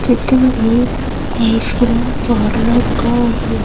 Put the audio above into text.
चित्र make ice cream parlour का हैं।